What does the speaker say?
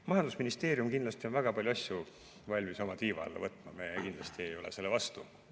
Majandusministeerium on kindlasti valmis väga palju asju oma tiiva alla võtma, me kindlasti ei ole selle vastu.